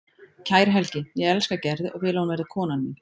Kæri Helgi, ég elska Gerði og vil að hún verði konan mín.